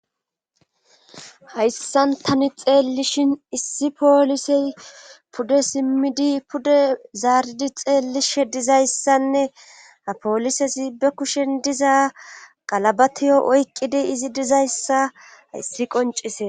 hayssan tani xeelishin issi poolisey pude simmidi pude zaaridi xeellishe dizayssanne apoolisezi be kushen diza qalabatiyo oyqqidi izi dizayssa hayssi qoncise